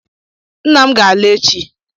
Nna m ga-ala echi